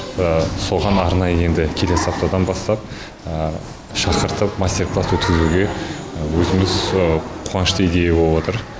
соған арнайы енді келесі аптадан бастап шақыртып мастер класс өткізуге өзіміз қуанышты идея болып отыр